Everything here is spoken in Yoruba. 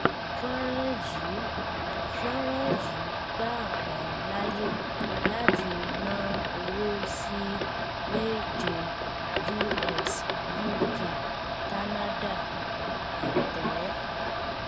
fọnrán yìí fọnrán yìí gbà ọ láàyè láti rán owó sí méje us uk canada àtẹ